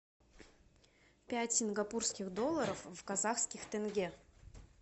пять сингапурских долларов в казахских тенге